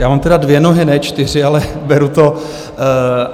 Já mám tedy dvě nohy, ne čtyři, ale beru to.